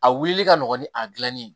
A wulili ka nɔgɔn ni a dilanni ye